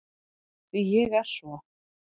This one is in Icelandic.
Því ég er svo